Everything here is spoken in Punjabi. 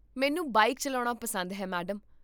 ਮੈਨੂੰ ਬਾਈਕ ਚੱਲਾਉਣਾ ਪਸੰਦ ਹੈ, ਮੈਡਮ